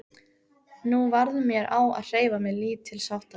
Nú varð mér á að hreyfa mig lítilsháttar.